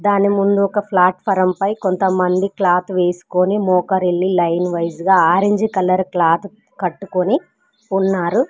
దాని ముందు ఒక ప్లాట్ఫారం పై కొంతమంది క్లాత్ వేసుకొని మోకరిల్లి లైన్ వైస్ గా ఆరంజ్ కలర్ క్లాత్ కట్టుకొని ఉన్నారు.